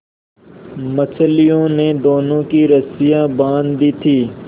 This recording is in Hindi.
मछलियों ने दोनों की रस्सियाँ बाँध दी थीं